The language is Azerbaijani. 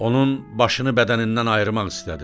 Onun başını bədənindən ayırmaq istədi.